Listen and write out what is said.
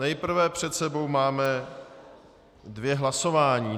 Nejprve před sebou máme dvě hlasování.